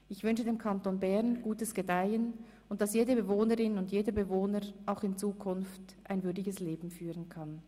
Ich wünsche dem Kanton Bern gutes Gedeihen und dass jede Bewohnerin und jeder Bewohner auch in Zukunft ein würdiges Leben führen kann.